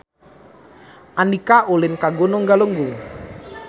Andika ulin ka Gunung Galunggung